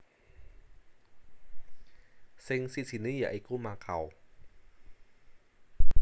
Sing sijiné ya iku Makau